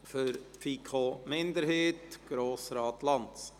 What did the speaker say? Für die FiKo-Minderheit: Grossrat Lanz.